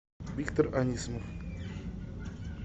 виктор анисимов